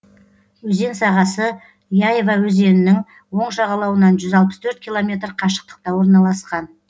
өзен сағасы яйва өзенінің оң жағалауынан жүз алпыс төрт километр қашықтықта орналасқан